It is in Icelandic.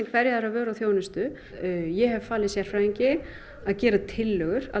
hverja aðra vöru og þjónustu ég hef falið sérfræðingi að gera tillögur að